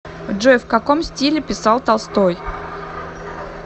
джой в каком стиле писал толстой